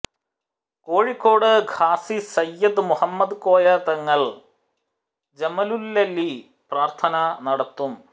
കോഴിക്കോട് ഖാസി സയ്യിദ് മുഹമ്മദ് കോയ തങ്ങള് ജമലുല്ലൈലി പ്രാര്ത്ഥന നടത്തും